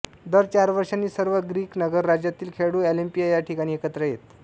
दर चार वर्षांनी सर्व ग्रीक नगरराज्यातील खेळाडू ऑलिम्पिया या ठिकाणी एकत्र येत